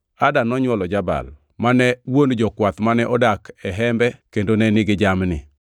Ada nonywolo Jabal, mane wuon jokwath mane odak e hembe kendo ne nigi jamni.